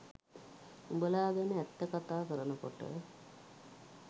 උඹලා ගැන ඇත්ත කතා කරනකොට